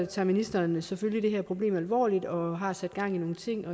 tager ministeren selvfølgelig det her problem alvorligt og har sat gang i nogle ting